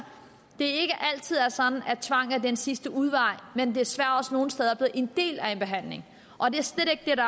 det ikke altid er sådan at tvang er den sidste udvej men desværre også nogle steder er blevet en del af en behandling og det er slet ikke